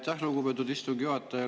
Aitäh, lugupeetud istungi juhataja!